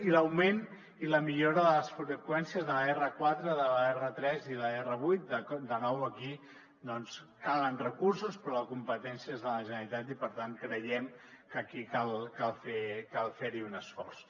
i l’augment i la millora de les freqüències de l’r4 de l’r3 i l’r8 de nou aquí doncs calen recursos però la competència és de la generalitat i per tant creiem que aquí cal fer hi un esforç